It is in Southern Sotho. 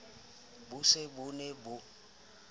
bo se bo ne bo